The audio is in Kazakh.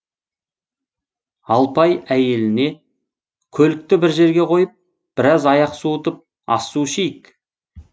алпай әйеліне көлікті бір жерге қойып біраз аяқ суытып ас су ішейік